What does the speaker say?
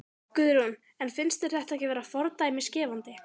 Guðrún: En finnst þér þetta ekki vera fordæmisgefandi?